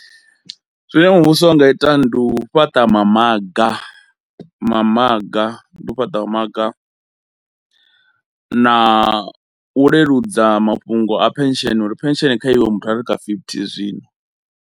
Zwine muvhuso wa nga ita ndi u fhaṱa mamaga mamaga ndi u fhaṱa maga, na u leludza mafhungo a pension uri pension kha iwe muthu are kha fifty zwino.